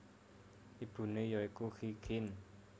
Ibune ya iku Qi Xin